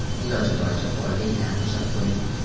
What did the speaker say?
Iloji boricha polga gilam to‘shab qo‘ying.